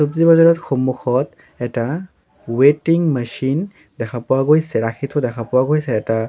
বজাৰত সন্মুখত এটা ৱেটিং মেচিন দেখা পোৱা গৈছে ৰাখি থোৱা দেখা পোৱা গৈছে এটা--